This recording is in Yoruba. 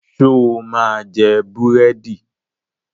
Ṣo máa jẹ búrẹ́dì?